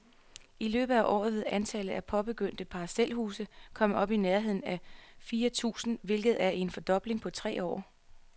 I løbet af året vil antallet af påbegyndte parcelhuse komme op i nærheden af fire tusind, hvilket er en fordobling på tre år.